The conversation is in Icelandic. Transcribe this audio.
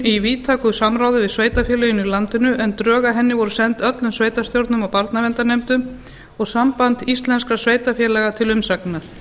í víðtæku samráði við sveitarfélögin í landinu en drög að henni voru send öllum sveitarstjórnum og barnaverndarnefndum og sambandi íslenskra sveitarfélaga til umsagnar